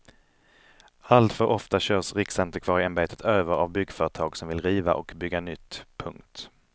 Alltför ofta körs riksantikvarieämbetet över av byggföretag som vill riva och bygga nytt. punkt